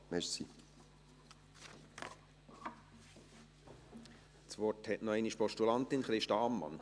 Das Wort hat noch einmal die Postulantin, Christa Ammann.